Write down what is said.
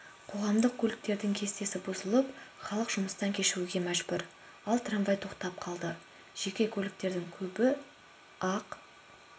қоғамдық көліктердің кестесі бұзылып халық жұмыстан кешігуге мәжбүр ал трамвай тоқтап қалды жеке көліктердің көбі ақ